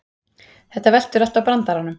Þetta veltur allt á brandaranum